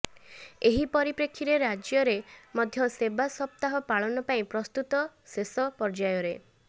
ଏହି ପରିପେକ୍ଷୀରେ ରାଜ୍ୟରେ ମଧ୍ୟ ସେବା ସପ୍ତାହ ପାଳନ ପାଇଁ ପ୍ରସ୍ତୁତ ଶେଷ ପର୍ଯ୍ୟାୟରେ